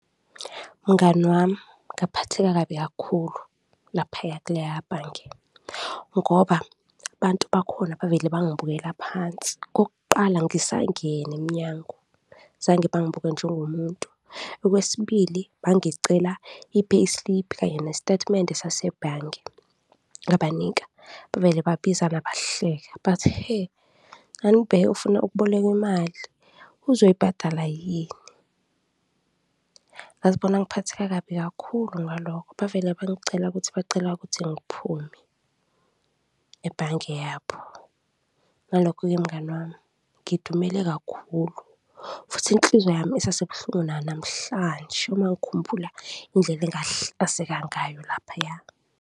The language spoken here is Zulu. Mngani wami, ngaphatheka kabi kakhulu laphaya kuleya bhange ngoba abantu bakhona bavele bangibukela phansi. Okokuqala, ngisangena emnyango zange bangibuke njengomuntu. Okwesibili, bangicela i-pay slip kanye nestatimende sasebhange ngabanika bavele babizana bahleka, bathi, hhe! Anibheke ufuna ukubolekwa imali, uzoyibhadala yini? Ngazibona ngiphatheka kabi kakhulu ngalokho, bavela bangicela kuthi bacela ukuthi ngiphume ebhange yabo. Ngalokho-ke mngani wami, ngidumele kakhulu futhi inhliziyo yami isasebuhlungu nanamhlanje uma ngikhumbula indlela engahlazeka ngayo laphaya.